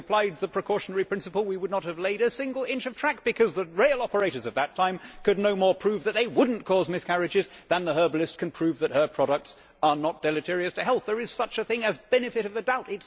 Had we applied the precautionary principle we would not have laid a single inch of track, because the rail operators at that time could no more prove that they would not cause miscarriages than the herbalist can prove that her products are not deleterious to health. There is such a thing as benefit of the doubt'.